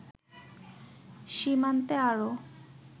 সীমান্তে আরও